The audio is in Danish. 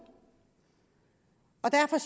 og derfor